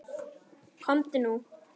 Komdu nú!